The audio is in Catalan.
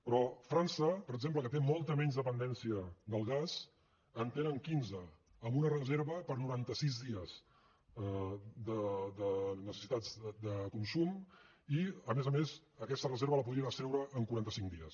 però a frança per exemple que té molta menys dependència del gas en tenen quinze amb una reserva per a noranta sis dies de necessitats de consum i a més a més aquesta reserva la podrien extreure en quaranta cinc dies